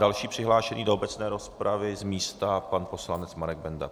Další přihlášený do obecné rozpravy z místa pan poslanec Marek Benda.